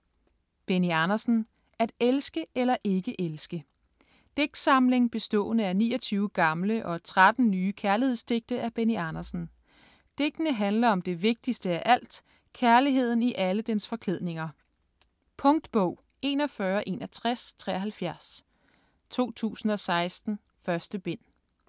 Andersen, Benny: At elske eller ikke elske Digtsamling bestående af 29 gamle og 13 nye kærlighedsdigte af Benny Andersen. Digtene handler om det vigtigste af alt, kærligheden i alle dens forklædninger. Punktbog 416173 2016. 1 bind.